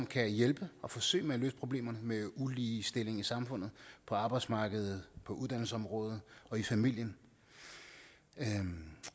kan hjælpe og forsøge at løse problemerne med uligestillingen i samfundet på arbejdsmarkedet på uddannelsesområdet og i familien